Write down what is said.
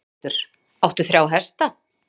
Þórhildur: Áttu þrjá hesta?